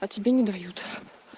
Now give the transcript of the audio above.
а тебе не дают